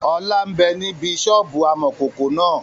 Ọlá ń bẹ níbi sọ́ọ́bù amọ̀kòkò náà